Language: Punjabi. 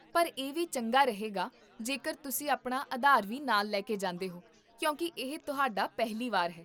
ਪਰ ਇਹ ਵੀ ਚੰਗਾ ਰਹੇਗਾ ਜੇਕਰ ਤੁਸੀਂ ਆਪਣਾ ਆਧਾਰ ਵੀ ਨਾਲ ਲੈਕੇ ਜਾਂਦੇ ਹੋ ਕਿਉਂਕਿ ਇਹ ਤੁਹਾਡਾ ਪਹਿਲੀ ਵਾਰ ਹੈ